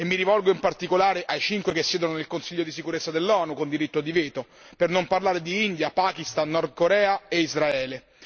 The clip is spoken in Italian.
Mi rivolto in particolare ai cinque che siedono nel Consiglio di sicurezza dell'ONU con diritto di veto, per non parlare di India, Pakistan, Nord Corea e Israele.